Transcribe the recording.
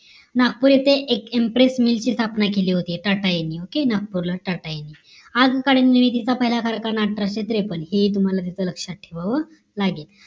नागपुर येथे एक impress mill ची स्थापना केली होती टाटा यांनी OKAY नागपूरला टाटा यांनी. आजकालीन निलगिरीचा पहिला कारखाना अठराशे त्रेपन्न हे ही तुम्हाला तिथं लक्ष्यात ठेवावं लागेल